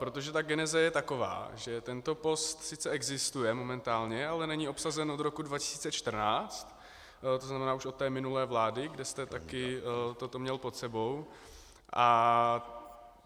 Protože ta geneze je taková, že tento post sice existuje momentálně, ale není obsazen od roku 2014, to znamená už od té minulé vlády, kde jste také toto měl pod sebou.